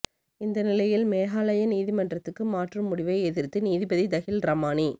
இந்த நிலையில் மேகாலயா உயர்நீதிமன்றத்துக்கு மாற்றும் முடிவை எதிர்த்து நீதிபதி தஹில் ரமானி